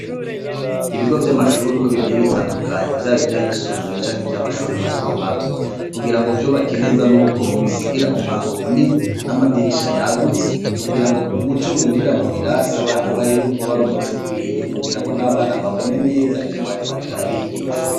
Ibigo vy'amashuri uko bigiye bitandukanyi vyabo ivyo ayisumbuye canke ivyo amashuri mato mato kugira ngo vyubake neza ni uko ubisigira umwango munini n'amadirisha yagutse kugira ngo umuco winjira mu birasi abana barimwo ube ari umuco ukwiye kugira ngo n'abana babone neza ivyo mwarimwariko arabigisha.